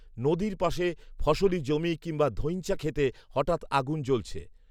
নদীর পাশে ফসলী জমি কিংবা ধইঞ্চা ক্ষেতে হঠাৎ আগুন জ্বলছে